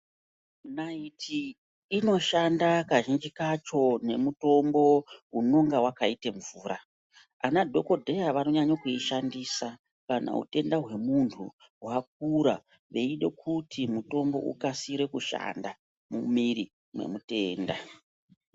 Naiti inoshanda kazhinji kacho nemutombo unonga wakaite mvura. Ana dhokodheya vanonyanya kuishandisa kana utenda hwemunhu hwakura veide kuti mutombo ukasire kushanda mumwiri mwemutenda.